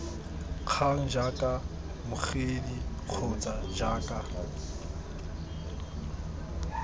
kgang jaaka mmogedi kgotsa jaaka